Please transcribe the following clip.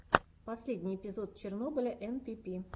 последний эпизод чернобыля энпипи